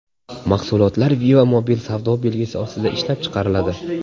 Mahsulotlar Viva Mobil savdo belgisi ostida ishlab chiqariladi.